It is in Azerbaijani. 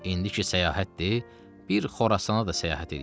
İndiki səyahətdir, bir Xorasana da səyahət eləyin.